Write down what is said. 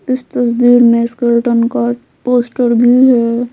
इस तस्वीर में स्केलटन का पोस्टर भी है।